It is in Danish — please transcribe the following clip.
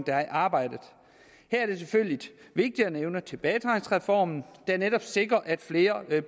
der er i arbejde her er det selvfølgelig vigtigt at nævne tilbagetrækningsreformen der netop sikrer at flere